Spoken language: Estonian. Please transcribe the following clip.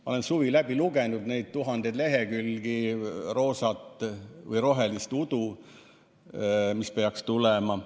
Ma olen suvi läbi lugenud tuhandeid lehekülgi roosat või rohelist udu selle kohta, mis peaks tulema.